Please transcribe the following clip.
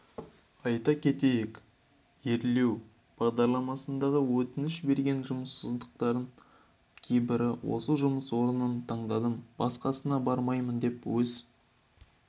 айта кетейік өрлеу бағдарламасына өтініш берген жұмыссыздардың кейбірі осы жұмыс орнын таңдадым басқасына бармаймын деп өз